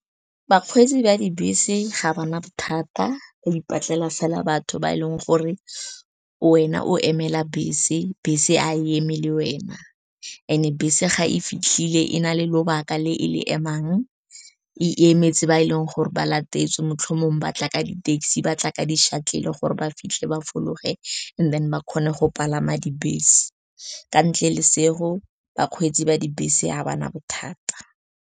Bakgweetsi ba dibese ga ba na bothata, o ipatlela fela batho ba e leng gore wena o emela bese, bese ga emele wena. Mme fa bese e sa fitlhele, e na le lobaka le e emang, e emetse ba e leng gore ba latetswe maitlhomong. Ba tla ka di-taxi, ba tla ka di-shuttle gore ba fitlhe ba fologa, mme morago ba kgone go palama dibese. Ka ntle le seo, bakgweetsi ba dibese ga ba na bothata.